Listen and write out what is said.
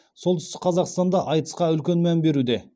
солтүстік қазақстанда айтысқа үлкен мән беруде